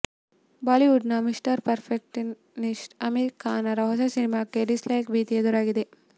Bollywood ನ mister perfectionist Aamir Khan ರ ಹೊಸ ಸಿನಿಮಾಕ್ಕೂ ಡಿಸ್ ಲೈಕ್ ಭೀತಿ ಎದುರಾಗಿದೆ